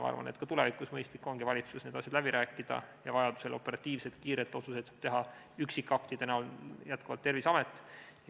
Ma arvan, et ka tulevikus on mõistlik valitsuses need asjad läbi rääkida ja vajaduse korral operatiivselt, kiirelt saab otsuseid üksikaktide kujul jätkuvalt teha Terviseamet.